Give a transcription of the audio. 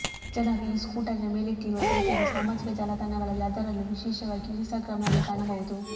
ಜನರು ಈ ಸ್ಕೂಟರಿನ ಮೇಲಿಟ್ಟಿರುವ ಪ್ರೀತಿಯನ್ನು ಸಾಮಾಜಿಕ ಜಾಲತಾಣಗಳಲ್ಲಿ ಅದರಲ್ಲೂ ವಿಶೇಷವಾಗಿ ಇನ್ಸ್ಟಾಗ್ರಾಮ್ನಲ್ಲಿ ಕಾಣಬಹುದು